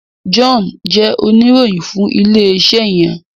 John jé Oníròyìn fún ilé iṣé yen.